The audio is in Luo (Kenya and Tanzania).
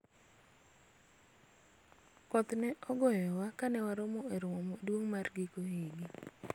koth ne ogoyowa kane wawuok e romo maduong' mar giko higa